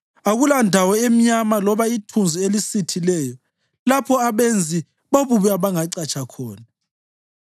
Akulandawo emnyama loba ithunzi elisithileyo, lapho abenzi bobubi abangacatsha khona.